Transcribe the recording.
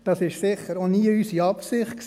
Das war sicher nie unsere Absicht.